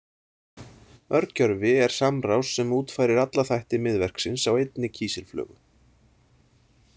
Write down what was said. Örgjörvi er samrás sem útfærir alla þætti miðverksins á einni kísilflögu.